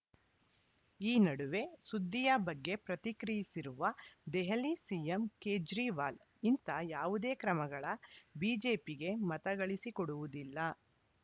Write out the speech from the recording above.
ಈ ನಡುವೆ ಸುದ್ದಿಯ ಬಗ್ಗೆ ಪ್ರತಿಕ್ರಿಯಿಸಿರುವ ದೆಹಲಿ ಸಿಎಂ ಕೇಜ್ರಿವಾಲ್‌ ಇಂಥ ಯಾವುದೇ ಕ್ರಮಗಳ ಬಿಜೆಪಿಗೆ ಮತಗಳಿಸಿಕೊಡುವುದಿಲ್ಲ